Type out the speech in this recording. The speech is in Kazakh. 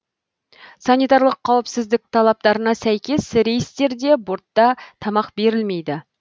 санитарлық қауіпсіздік талаптарына сәйкес рейстерде бортта тамақ берілмейді